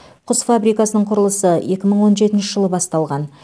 құс фабрикасының құрылысы екі мың он жетінші жылы басталған